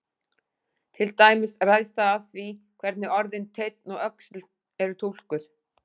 Til dæmis ræðst það af því hvernig orðin teinn og öxull eru túlkuð.